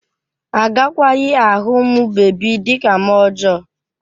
Agakwaghị ahụ ụmụ bebi dị ka mmụọ ọjọọ